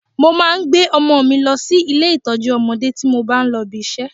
Mo máa ń gbé ọmọ mi lọ sí ilé ìtọ́jú ọmọdé tí mo bá ń lọ ibi iṣẹ́